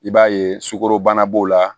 I b'a ye sukaro bana b'o la